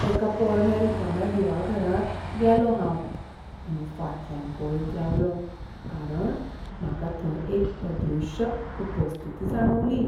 एका पोरण्या रिकाम्या दिवाघरांत गेलों हांव, आनी फाटल्यान पळयत रावलो कारण म्हाका थंय एक अदृश्य उपस्थिती जाणवली.